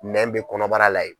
Nɛ bɛ kɔnɔbara la ye.